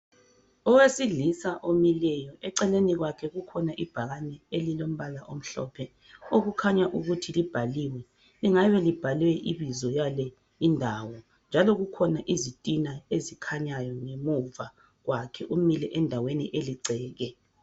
Owesilisa omileyo, eceleni kwakhe kukhona ibhakani elilombala omhlophe okukhanya ukuthi libhaliwe. Lingabe libhalwe ibizo lale indawo njalo kukhona izitina ezikhanyayo ngemuva kwakhe umile endaweni eligceke